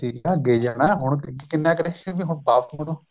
ਠੀਕ ਏ ਅੱਗੇ ਜਾਣਾ ਹੁਣ ਕਿੰਨਾ ਕ਼ ਹੁਣ ਵਾਪਿਸ ਮੁੜੋ